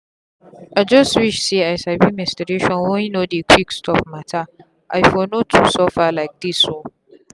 i just wish say i sabi menstruation wey no dey quick stop matteri for no too suffer like this oo.